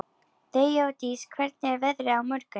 Þeódís, hvernig er veðrið á morgun?